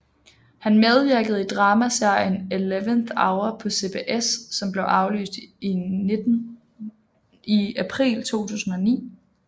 Han medvirkede i dramaserien Eleventh Hour på CBS som blev aflyst i april 2009